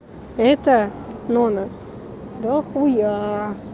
это номер бохуя